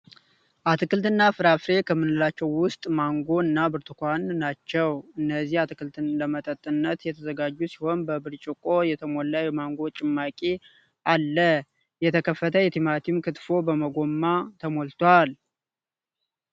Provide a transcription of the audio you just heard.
አትክልት እና ፍራፍሬ ከምንላቸው ውስጥ ማንጎ እና ብርቱኳን ናቸው። እነዚህ አትክልቶች ለመጠጥነት የተዘጋጁ ሲሆን በብርጮቆ የተሞላ የማንጎ ጭማቂ አለ። የተከተፈ የቲማቲም ክትፎ በጎማ ተሞልቷል።